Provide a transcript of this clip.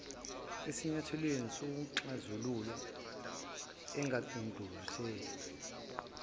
esinyathelweni sokuxazulula engadlulisela